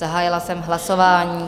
Zahájila jsem hlasování.